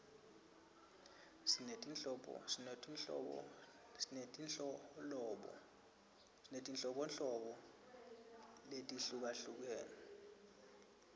sinetinholobo letihlukahlukere temidlalo